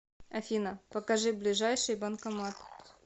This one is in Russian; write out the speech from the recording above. афина покажи ближайший банкомат